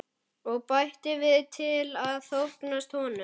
Og bætir við til að þóknast honum.